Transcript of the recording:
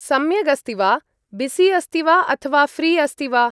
सम्यगस्ति वा बिसि अस्ति वा अथवा फ्री़ अस्ति वा ?